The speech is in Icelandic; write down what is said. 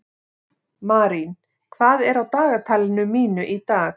Marín, hvað er á dagatalinu mínu í dag?